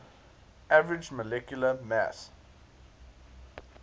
average molecular mass